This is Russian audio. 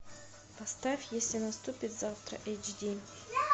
поставь если наступит завтра эйч ди